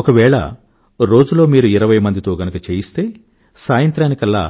ఒకవేళ రోజులో మీరు ఇరవైమందితో గనుక చేయిస్తే సాయంత్రానికల్లా